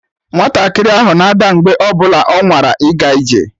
Nwatakịrị ahụ na-ada mgbe ọ bụla ọ nwara ịga ije